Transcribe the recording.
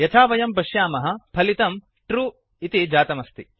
यथा वयं पश्यामः फलितं ट्रू ट्रू जातमस्ति